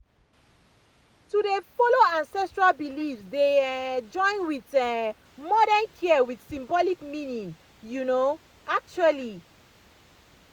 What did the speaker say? to dey follow ancestral beliefs dey um join with um modern care with symbolic meaning you meaning you know um actually